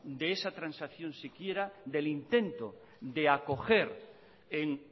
de esa transacción siquiera del intento de acoger en